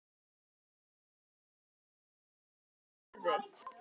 Hvernig halda menn þá að mætingin verði?